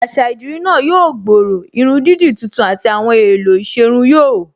Àṣà idirí náà yóò gbòòrò, irun dídì tuntun àti àwọn èèlò ìṣerun yóò